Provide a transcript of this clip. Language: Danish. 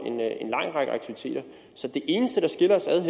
en lang række aktiviteter så det eneste der skiller os ad er